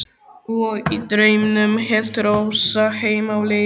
Og í draumnum hélt Rósa heim á leið.